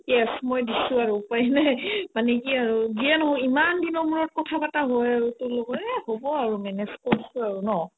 yes মই দিছো আৰু উপাই নাই মানে কি যিয়ে নহওক ইমান দিনৰ মোৰত কথা পাতা হয় আৰু তোৰ লগত এহ হ'ব আৰু manage কৰছোয়ে আৰু ন